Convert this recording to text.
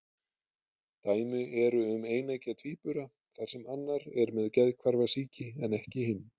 Dæmi eru um eineggja tvíbura þar sem annar er með geðhvarfasýki en ekki hinn.